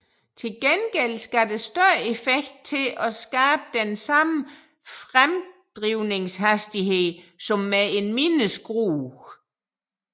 Til gengæld skal der større effekt til at skabe den samme fremdrivningshastighed som med en mindre skrue